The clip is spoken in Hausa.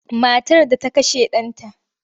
Matar da ta kashe ɗanta.